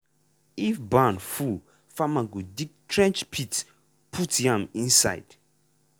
if barn full farmer go dig trench pit ( trench pit ( hole inside ground ) put yam inside.